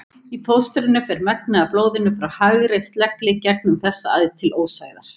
Í fóstrinu fer megnið af blóðinu frá hægri slegli gegnum þessa æð til ósæðar.